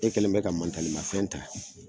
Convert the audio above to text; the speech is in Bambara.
E kɛlen mɛ ka mafɛn ta